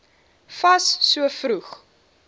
fas so vroeg